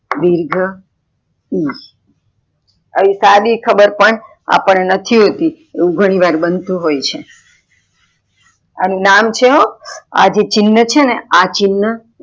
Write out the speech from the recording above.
દિર્ઘ ઉ આવી સદી ખબર પણ અપાડને નથી હોતી એવું ઘણી વાર બનતું હોય છે અનુ નામ છે હો આ છેને ચિન્હ છેને આ ચિન્હ.